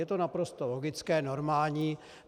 Je to naprosto logické, normální.